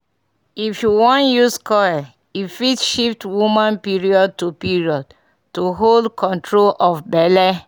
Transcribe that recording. if u wan use coil e fit shift woman period --to period --to hold control of belle